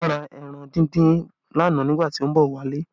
Aina ra ẹran díndín lánàá nígbà tí ó ń bọ̀ wálé